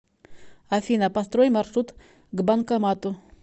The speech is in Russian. афина построй маршрут к банкомату